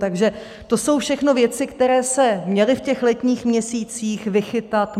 Takže to jsou všechno věci, které se měly v těch letních měsících vychytat.